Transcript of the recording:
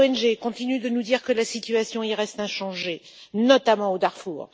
Les ONG continuent de nous dire que la situation y reste inchangée, notamment au Darfour.